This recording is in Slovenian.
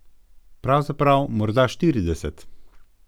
Pravzaprav morda štirideset.